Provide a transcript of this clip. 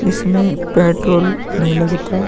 इसमें पेट्रोल नहीं लगता --